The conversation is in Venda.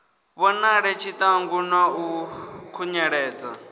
vhonale tshiṱangu na u khunyeledza